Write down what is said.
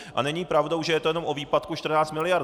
A není pravdou, že je to jenom o výpadku 14 mld.